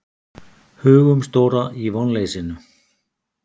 Hugumstóra í vonleysinu.